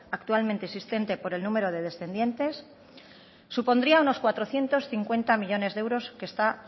actualmente existente por el número de descendientes supondría unos cuatrocientos cincuenta millónes de euros que está